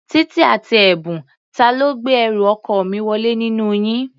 Títí àti Ẹ̀bùn, ta ló gbé ẹrù ọkọ mi wọlé nínú yín?